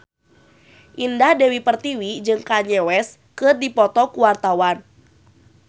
Indah Dewi Pertiwi jeung Kanye West keur dipoto ku wartawan